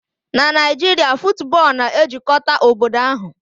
Na Naijiria, football na-ejikọta obodo ahụ